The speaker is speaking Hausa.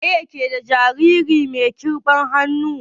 Waye ke ɗa jariri mai kiɓan hannu?